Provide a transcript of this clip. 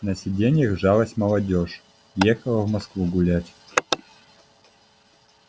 на сиденьях жалась молодёжь ехала в москву гулять